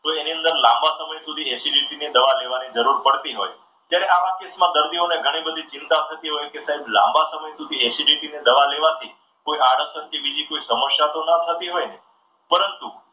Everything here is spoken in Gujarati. તો એના અંદર લાંબા સમય સુધી acidity ની દવા લેવાની જરૂર પડતી હોય. ત્યારે આવા કેસમાં દર્દીઓને ઘણી બધી ચિંતા થતી હોય કે સાહેબ લાંબા સમય સુધી acidity ની દવા લેવાથી કોઈ આળસર કે બીજી કોઈ સમસ્યા તો ન થતી હોય ને? પરંતુ,